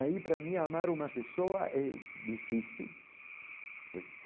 Aí, para mim, amar uma pessoa é difícil.